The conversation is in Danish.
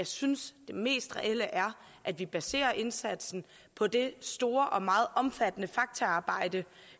synes det mest reelle er at vi baserer indsatsen på det store og meget omfattende faktaarbejde